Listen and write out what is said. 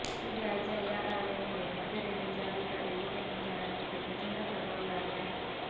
सीबीआयच्या या कारवाईमुळे मध्य रेल्वेच्या अधिकारी व कर्मचाऱ्यांमध्ये प्रचंड खळबळ उडाली आहे